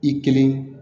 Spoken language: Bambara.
I kelen